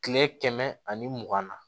Kile kɛmɛ ani mugan na